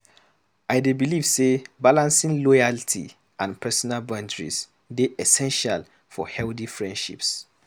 I dey believe say balancing loyalty and personal boundaries dey essential for healthy friendships.